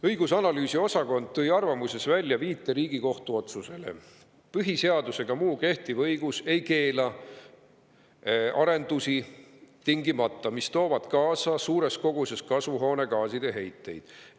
Õigus‑ ja analüüsiosakond tõi arvamuses välja viite Riigikohtu otsusele: "PS ega muu kehtiv õigus ei keela aga tingimata arendusi, mis toovad kaasa suures koguses kasvuhoonegaaside heiteid.